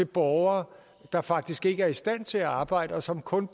borgere der faktisk ikke er i stand til arbejde og som kun